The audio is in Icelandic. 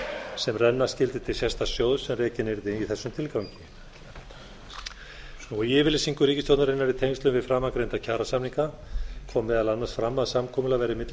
sem renna skyldi til sérstaks sjóðs sem rekinn yrði í þessum tilgangi í yfirlýsingu ríkisstjórnarinnar í tengslum við framangreinda kjarasamninga kom meðal annars fram að samkomulag væri milli